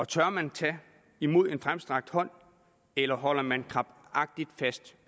tør man tage imod en fremstrakt hånd eller holder man krampagtigt fast